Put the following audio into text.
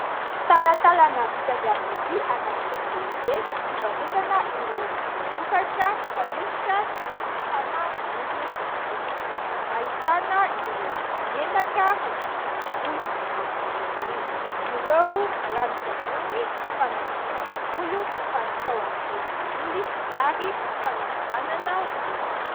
Talatalana vita avy amin'ny vy anaty tsena lehibe, fivarotana ireo vokatra fanosotra sy fanasana volo sy tarehy. Ahitana ireo menaka fanosotra amin'ny volo, manatsotra volo, ireo ranon-tsavony fanatsorana volo fatao amin'ny volo olioly ary fanakobanana volo.